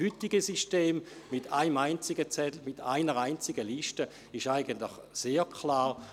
Das heutige System mit einem einzigen Zettel, mit einer einzigen Liste ist eigentlich sehr klar.